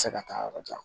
Se ka taa yɔrɔ jan